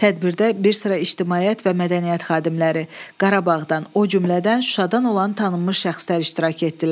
Tədbirdə bir sıra ictimaiyyət və mədəniyyət xadimləri, Qarabağdan, o cümlədən Şuşadan olan tanınmış şəxslər iştirak etdilər.